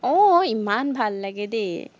আহ ইমান ভাল লাগে দেই।